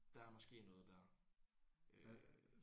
Der er måske noget der øh